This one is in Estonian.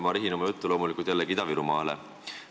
Ma rihin oma jutu loomulikult jällegi Ida-Virumaale.